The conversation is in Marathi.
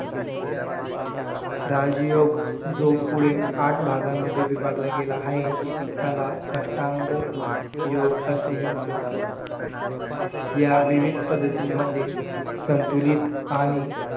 राज योग जो पुढे आठ भागांमध्ये विभागला गेला आहे त्याला अष्टांग योग असेही म्हणतात या विविध पद्धतींमध्ये संतुलित आणि